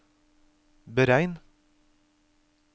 beregn